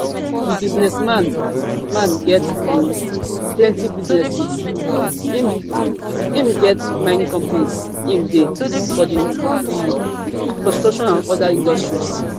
di businessman man get um plenty businesses im im get mining companies im dey for di um construction and oda industries